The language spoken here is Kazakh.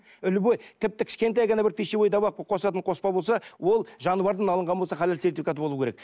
любой тіпті кішкентай ғана бір пищевой добавка қосатын қоспа болса ол жаны бардан алынған болса халал сертификаты болуы керек